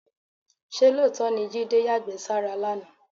Ṣé lóòótọ́ ni Jídé yàgbẹ́ sára lánàá?